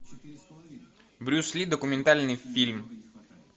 брюс ли документальный фильм